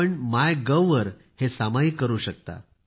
आपण मायगोव वर हे सामायिक करू शकता